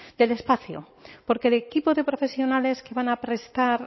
del espacio porque el equipo de profesionales que van a prestar